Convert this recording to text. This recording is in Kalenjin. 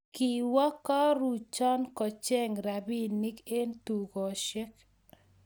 Kiwa karuchan kocheng rapinik en tukoshek